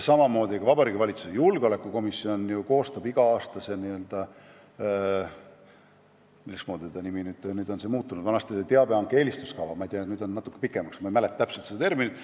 Ning Vabariigi Valitsuse julgeolekukomisjon ju koostab igal aastal dokumendi – mis selle nimetus ongi, nüüd on see muutunud, vanasti oli see teabehanke eelistuskava, nüüd on see natuke pikem, ma ei mäleta täpselt seda nimetust.